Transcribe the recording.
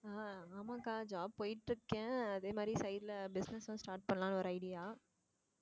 ஆஹ் ஆமாக்கா job போயிட்டு இருக்கேன் அதே மாதிரி side ல business எல்லாம் start பண்ணலாம்ன்னு ஒரு idea